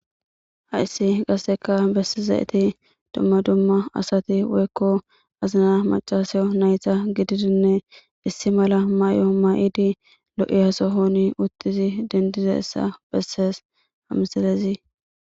Haissi qasseka bessi zayeti dumma dumma asati woykko azina macasayo nayta gididinne issi mala may,o ma,idi lo,iyasohoni utizi dendize essa bessees hamsalezi.